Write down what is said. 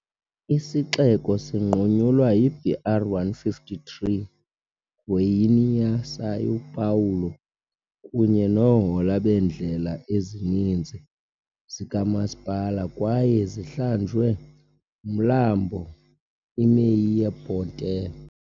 Isixeko sinqunyulwa yi-BR-153 Goiânia-São Paulo kunye nohola beendlela ezininzi zikamasipala kwaye zihlanjwe nguMlambo iMeia Ponte.